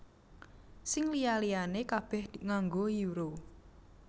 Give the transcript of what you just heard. Sing liya liyané kabèh nganggo Euro